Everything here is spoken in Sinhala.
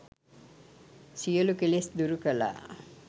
සියලු කෙලෙස් දුරු කළා.